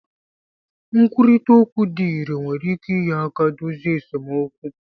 Nkwurịta okwu dị irè nwere ike inye aka dozie esemokwu